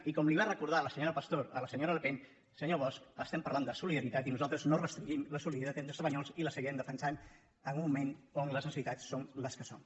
i com li va recor·dar la senyora pastor a la senyora le pen senyor bosch estem parlant de solidaritat i nosaltres no restringim la solidaritat entre espanyols i la seguirem defensant en un moment en què les necessitats són les que són